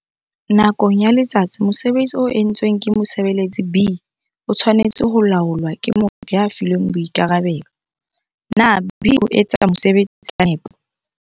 Nakong ya letsatsi mosebetsi o entsweng ke mosebeletsi B o tshwanetse ho laolwa ke motho ya filweng boikarabelo - na B o etsa mosebetsi ka nepo?